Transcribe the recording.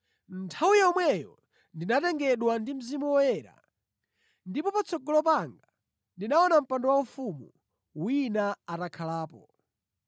Nthawi yomweyo ndinatengedwa ndi Mzimu Woyera, ndipo patsogolo panga ndinaona mpando waufumu wina atakhalapo.